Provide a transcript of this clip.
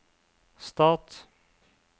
stat